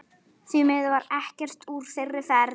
Því miður varð ekkert úr þeirri ferð.